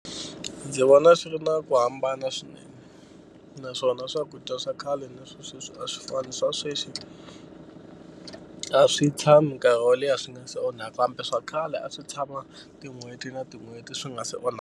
Ndzi vona swi ri na ku hambana swinene naswona swakudya swa khale na swa sweswi a swi fani swa sweswi a swi tshami nkarhi wo leha swi nga se onhaka kambe swa khale a swi tshama tin'hweti na tin'hweti swi nga se onha.